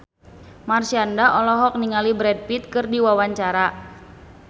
Marshanda olohok ningali Brad Pitt keur diwawancara